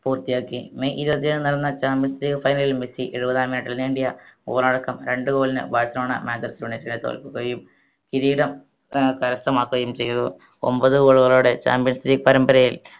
പൂർത്തിയാക്കി മെയ് ഇരുപതിന് നടന്ന champions league final ൽ മെസ്സി എഴുപതാം minute ൽ നേടിയ goal അടക്കം രണ്ട് goal ന് ബാഴ്‌സലോണ മാഞ്ചസ്റ്റർ united നെ തോൽപ്പിക്കുകയും കിരീടം ഏർ കരസ്ഥമാക്കുകയും ചെയ്തു ഒമ്പത് goal കളോടെ champions league പരമ്പരയിൽ